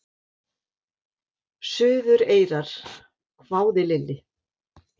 Suðureyrar? hváði Lilli.